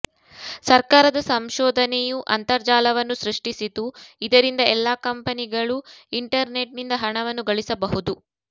ಸರ್ಕಾರದ ಸಂಶೋಧನೆಯು ಅಂತರ್ಜಾಲವನ್ನು ಸೃಷ್ಟಿಸಿತು ಇದರಿಂದ ಎಲ್ಲಾ ಕಂಪನಿಗಳು ಇಂಟರ್ನೆಟ್ನಿಂದ ಹಣವನ್ನು ಗಳಿಸಬಹುದು